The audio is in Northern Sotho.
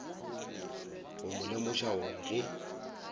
go mo lemoša gore ge